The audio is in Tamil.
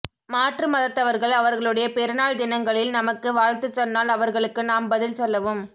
மாற்று மதத்தவர்கள் அவர்களுடைய பெருநாள் தினங்களில் நமக்கு வாழ்த்துச் சொன்னால் அவர்களுக்கு நாம் பதில் சொல்லவும்